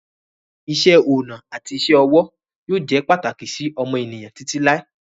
Iṣẹ́-ọnà àti isẹ́-ọwọ́ yóò jẹ́ pàtàkì sí ọmọ ènìyàn títí láé.